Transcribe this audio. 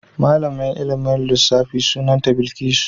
Malamar ilmin lissafin mu sunanta Bilkisu.